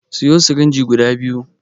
Siyo sirinji guda biyu